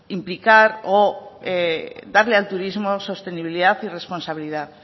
implicar o darle al turismo sostenibilidad y responsabilidad